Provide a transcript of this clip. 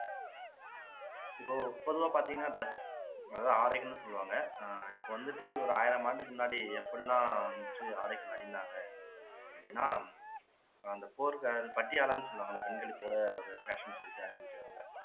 இப்போ பொதுவா பார்த்தீங்கன்னா dress அதாவது ஆடைகள்ன்னு சொல்லுவாங்க ஆஹ் இப்போ வந்துட்டு ஒரு ஆயிரம் ஆண்டுக்கு முன்னாடி எப்படியெல்லாம் வந்துட்டு ஆடைகள் அணிந்தாங்க அப்படின்னா அந்த பட்டியாளன்னு சொல்லுவாங்கல்ல பெண்களுக்கு கூட ஒரு fashion ன்னு சொல்லிட்டு அணிச்சுட்டு வருவாங்க